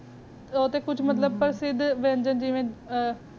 ਅੰਦਰ ਦਾ ਗੋਸ਼੍ਤ ਜੇਰਾ ਬੇਰਾ ਕਰ ਰੇ ਨੇ ਓ ਤੇ ਕੁਛ ਮੁਰਾਬਾ ਪਰ ਸੀਦ ਵੰਜੇਨ ਜੀ ਜੀ ਨਾ ਆ